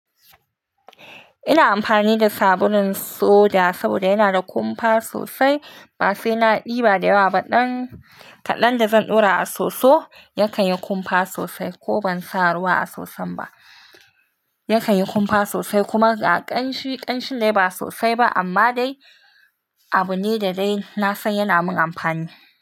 Ina amfani da sabulun soda saboda yana da kumfa sosai. Ba sai na ɗiba da yawa ba, kaɗan da zan ɗora a soso yakan yi kumfa sosai ko ban sa ruwa a soson ba. Yakan yi kumfa sosai kuma ƙanshi, ƙanshi dai ba sosai ba amma dai abu ne da dai na san yana min amfani.